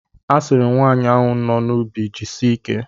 A sịrị m nwaanyị ahụ no n'ubi jisie ike.